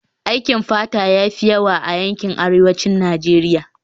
Aikin fata ya fi yawa a yankin arewacin Najeriya